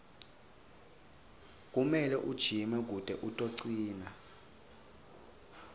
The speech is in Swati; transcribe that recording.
kumele ujime kute utocina